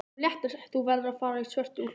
Þú verður að fara í svörtu úlpuna.